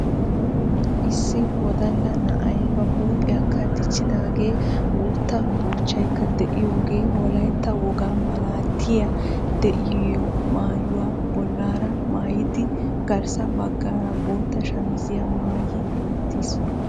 Issi wodalla na"ay ba huuphiyakka dichchidaagee guutta buuchchaykka de"iyoogee wolayitta wogaa malaatay de"iyoo maayuwa bollaara maayidi garssa baggaara bootta shamiziyaa maayi uttis.